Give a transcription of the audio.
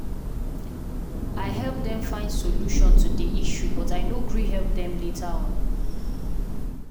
i help dem find solution to the issue but i no gree help them later on.